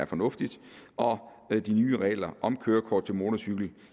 fornuftigt og de nye regler om kørekort til motorcykel